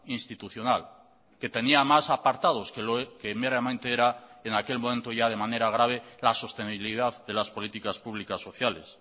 institucional que tenía más apartados que meramente era en aquel momento ya de manera grave la sostenibilidad de las políticas públicas sociales